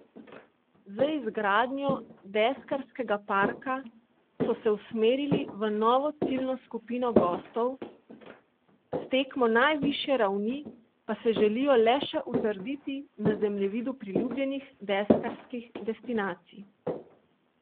Z izgradnjo deskarskega parka so se usmerili v novo ciljno skupino gostov, s tekmo najvišje ravni pa se želijo le še utrditi na zemljevidu priljubljenih deskarskih destinacij.